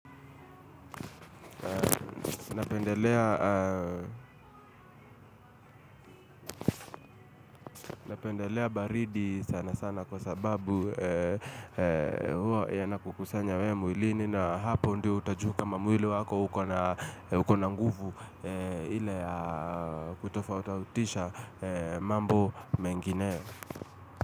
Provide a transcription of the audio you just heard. Napendelea baridi sana sana kwa sababu hua yanakukusanya we mwilini na hapo ndiyo utajua kama mwili wako ukona nguvu ile ya kutofa utautisha mambo mengine.